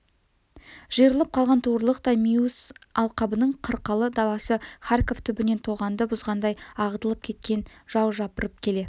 жиырылып қалған туырлықтай миус алқабының қырқалы даласы харьков түбінен тоғанды бұзғандай ағытылып кеткен жау жапырып келе